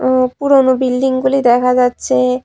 উম পুরোনো বিল্ডিংগুলি দেখা যাচ্ছে।